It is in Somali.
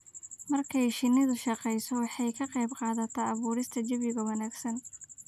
Marka ay shinnidu shaqeyso, waxay ka qaybqaadataa abuurista jawi wanaagsan.